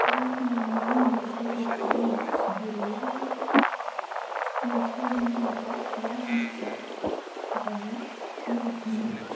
вашему вниманию хочу представить деревья и что в них не так я вам сейчас покажу и расскажу